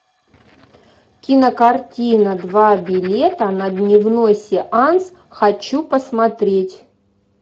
кинокартина два билета на дневной сеанс хочу посмотреть